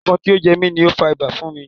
Ẹ̀fọn tí ó jẹ mi ni ó fa ibà fún mi.